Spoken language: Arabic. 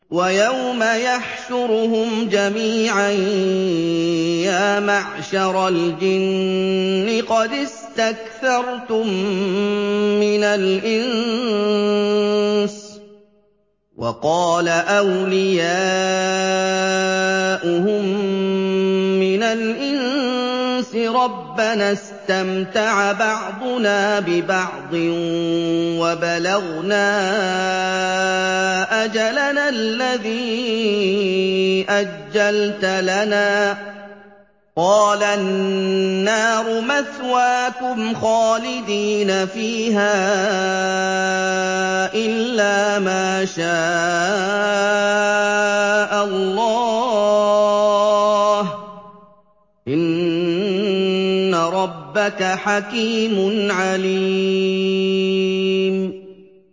وَيَوْمَ يَحْشُرُهُمْ جَمِيعًا يَا مَعْشَرَ الْجِنِّ قَدِ اسْتَكْثَرْتُم مِّنَ الْإِنسِ ۖ وَقَالَ أَوْلِيَاؤُهُم مِّنَ الْإِنسِ رَبَّنَا اسْتَمْتَعَ بَعْضُنَا بِبَعْضٍ وَبَلَغْنَا أَجَلَنَا الَّذِي أَجَّلْتَ لَنَا ۚ قَالَ النَّارُ مَثْوَاكُمْ خَالِدِينَ فِيهَا إِلَّا مَا شَاءَ اللَّهُ ۗ إِنَّ رَبَّكَ حَكِيمٌ عَلِيمٌ